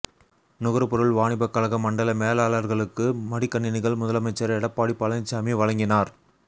நுகர்பொருள் வாணிபக் கழக மண்டல மேலாளர்களுக்கு மடிக்கணினிகள் முதலமைச்சர் எடப்பாடி பழனிச்சாமி வழங்கினார்